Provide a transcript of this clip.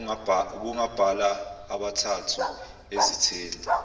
ubungabala abathathu ezitheni